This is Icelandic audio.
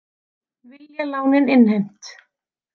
Vilja lánin innheimt